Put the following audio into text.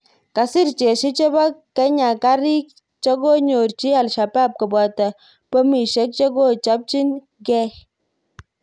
Kasir jeshi chepo Kenya kariik chekonyorchi Alshabaab kopoto pomishek chekochopchin gei